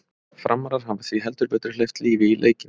Framarar hafa því heldur betur hleypt lífi í leikinn!